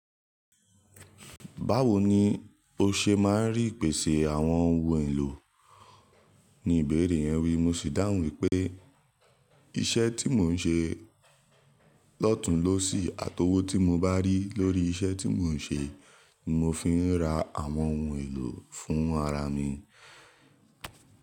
Báwo ni o ṣe máa ń rí ipèsè àwọn ohun èlò? Ni ìbéèrè yẹn wí, mo sì dáhùn wípé, iṣẹ́ tí mò ń ṣe lọ́tùn lọ́sì àti owó tí mo bá rí lórí iṣẹ́ tí mò ń ṣe ni mo fi ń ra àwọn ohun èlò fún ara mi.